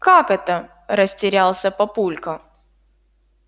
как это растерялся папулька